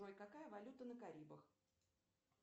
джой какая валюта на карибах